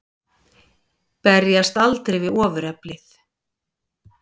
Berjast aldrei við ofureflið.